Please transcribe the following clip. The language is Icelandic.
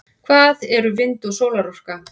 hvað eru vind og sólarorka